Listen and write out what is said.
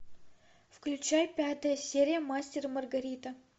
включай пятая серия мастер и маргарита